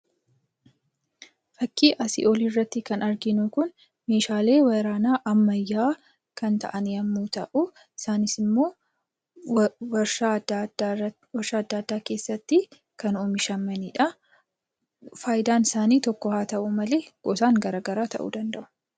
Fakkii asii olii irratti kan arginu kun, Meeshaalee waraanaa ammayyaa kan ta'an yemmuu ta'uu, isaanis immoo waarshaa addaa addaa keessatti kan oomishamanidha. Fayidaan isaanii tokko haa ta'uu malee gosaan garaagara ta'uu danda'u.